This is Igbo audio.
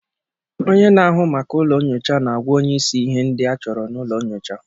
Onye na-ahụ maka ụlọ nyocha na-agwa onye isi ihe ndị achọrọ na ụlọ nyocha